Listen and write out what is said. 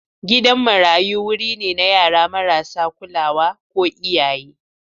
Gidan marayu wuri ne na yara marasa kulawa ko iyaye.